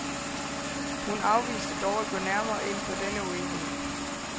Hun afviste dog at gå nærmere ind på denne uenighed.